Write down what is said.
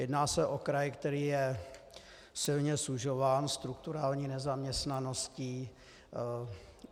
Jedná se o kraj, který je silně sužován strukturální nezaměstnaností.